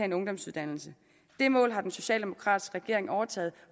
en ungdomsuddannelse det mål har den socialdemokratiske regering overtaget